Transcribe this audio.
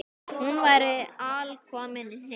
Hún væri alkomin heim.